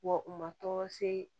Wa u ma tɔgɔ se